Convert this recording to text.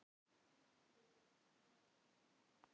Augnsamband á að heita svo sjálfgefið.